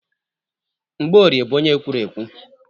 Mgbọorie bụ onye ekwurekwu.